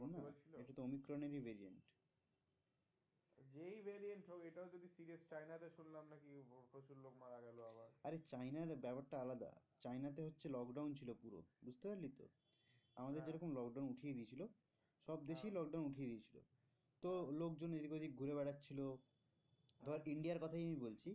আরে চায়নার ব্যাপারটা আলাদা চায়নাতে হচ্ছে lockdown ছিল পুরো বুঝতে পারলি তো? আমাদের যেরকম lockdown উঠিয়ে দিয়েছিলো সব দেশেই lockdown উঠিয়ে দিয়েছিলো তো লোকজন এদিক ওদিক ঘুরে বেড়াচ্ছিল ধর India র কথাই আমি বলছি।